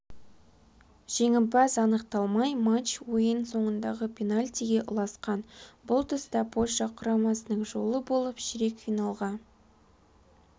жеңімпаз анықталмай матч ойын соңындағы пенальтиге ұласқан бұл тұста польша құрамасының жолы болып ширек финалға